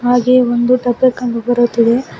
ಹಾಗೆ ಒಂದು ದಬ್ಬೆ ಕಂಡು ಬರುತ್ತದೆ.